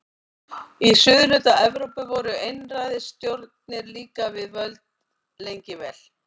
Í suðurhluta Evrópu voru einræðisstjórnir líka við völd lengi vel.